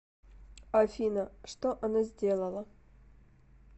афина что она сделала